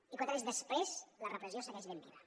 i quatre anys després la repressió segueix ben viva